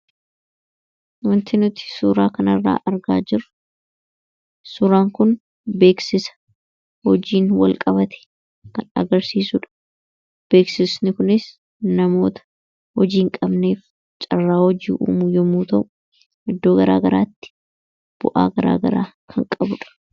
Wanti nuti suuraa kanarraa argaa jiru suuraan kun beeksisa hojiin wal qabate kan agarsiisuudha. Beeksisni kunis namoota hojii hin qabneef carraa hojii uumuu yommuu ta'u iddoo garaa garaatti bu'aa garaa garaa kan qabuudha.